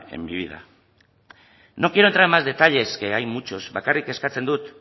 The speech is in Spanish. en mi vida no quiero entrar en más detalles que hay muchos bakarrik eskatzen dut